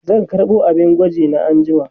zan karɓo abin gwaji na anjima